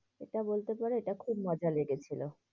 এটা বলতে পারো এটা খুব মজা লেগেছিলো।